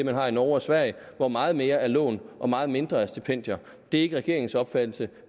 har i norge og sverige hvor meget mere er lån og meget mindre er stipendier det er ikke regeringens opfattelse